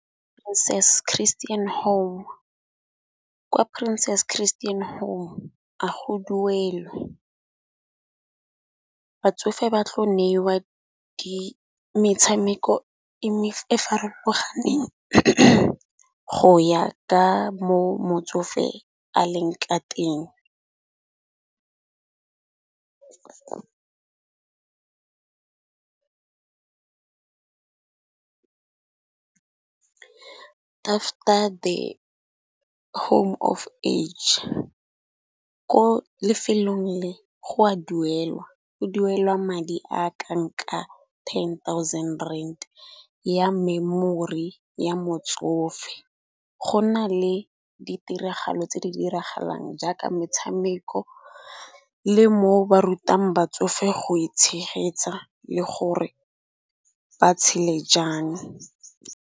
Christian home kwa princess christian home a go duelwe. Batsofe ba tlo neiwa metshameko e farologaneng go ya ka mo motsofe a leng ka teng . After the home of age, ko lefelong le go a duelwa. Go duela madi a ka nka ten thousand rand ya memory ya motsofe. Go na le ditiragalo tse di diragalang jaaka metshameko le mo ba rutang batsofe go e tshegetsa le gore ba tshele jang.